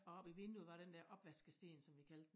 Og oppe i vinduet var den dér opvaskesten som vi kaldte den